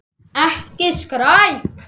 Ekki skræk.